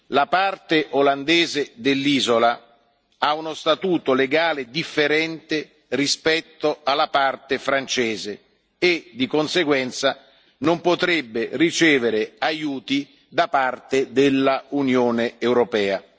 La parte olandese dell'isola ha uno statuto legale differente rispetto alla parte francese e, di conseguenza, non potrebbe ricevere aiuti dell'Unione europea.